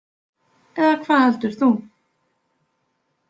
Eða hvað heldur þú?